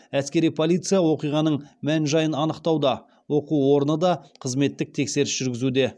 әскери полиция оқиғаның мән жайын анықтауда оқу орны да қызметтік тексеріс жүргізуде